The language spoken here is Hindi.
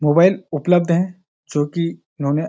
मोबाइल उपलब्ध हैं जो कि उन्होंने --